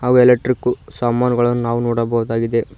ಅವು ಎಲೆಕ್ಟ್ರಿಕ್ಕು ಸಾಮಾನುಗಳನ್ನು ನಾವು ನೋಡಬಹುದಾಗಿದೆ.